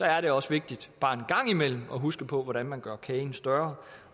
er det også vigtigt bare en gang imellem at huske på hvordan man gør kagen større